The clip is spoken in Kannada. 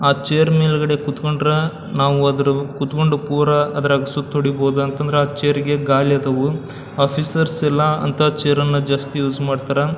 ಆ ಚೇರ್ ಮೇಲ್ಗಡೆ ಕೂತಕೊಂಡ್ರ ನಾವು ಅದ್ರು ಕುತ್ಕೊಂಡು ಪೂರ ಅದರಗ್ ಸುತ್ ಹೊಡೀಬೊದಂತಂದ್ರ ಆ ಚೇರ್ ಗೆ ಗಾಲಿ ಆದವು ಆಫಿಸರ್ಸ್ ಎಲ್ಲ ಅಂತ ಚೇರ್ ಅನ್ನ ಜಾಸ್ತಿ ಯೂಸ್ ಮಾಡ್ತಾರಾ --